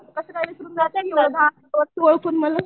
कसं काय विसरून जाते म्हणून